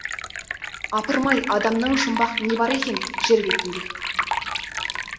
апырмай адамнан жұмбақ не бар екен жер бетінде